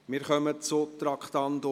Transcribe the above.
Wir kommen zum Traktandum 56.